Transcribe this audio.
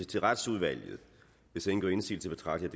til retsudvalget hvis ingen gør indsigelse betragter